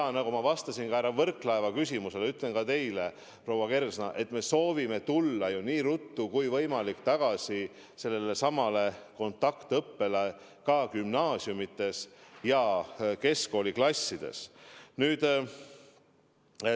Ja nagu ma vastasin ka härra Võrklaeva küsimusele, nii ütlen ka teile, proua Kersna, et me soovime nii ruttu kui võimalik taastada kontaktõppe ka gümnaasiumides, keskkooliklassides.